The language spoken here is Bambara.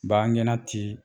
Bangangɛnna tii